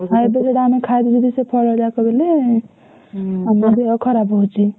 ଆଉ ଏବେ ଯଦି ଆମେ ଖାଇବୁ ଯଦି ସେ ଫଳଯାକ ବେଲେ ଆମ ଦେହ ଖରାପ ହଉଛି।